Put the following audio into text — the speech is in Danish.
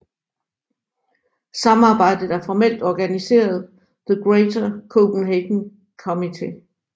Samarbejdet er formelt organiseret The Greater Copenhagen Committee